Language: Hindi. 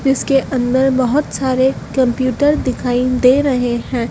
इसके अंदर बहुत सारे कंप्यूटर दिखाई दे रहे हैं।